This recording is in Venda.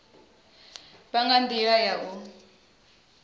vha nga ndila ya u